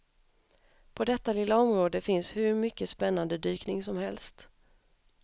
På detta lilla område finns hur mycket spännande dykning som helst.